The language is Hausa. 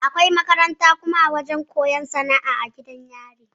Akwai makaranta da kuma wajan koyan sana'a a gidan yari